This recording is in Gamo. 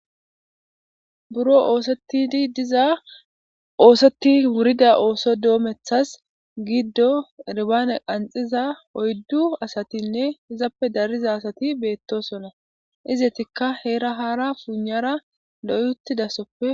buro oosettidi diza ooseti wurida ooso doomethas giddo erbane qanxiza oyddu asatinne izappe dariza asati beettosona izetikka heera haara puunara loyuttidasoppe